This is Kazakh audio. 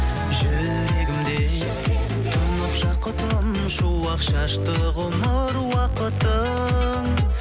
жүрегімде тұнып жақұтым шуақ шашты ғұмыр уақытын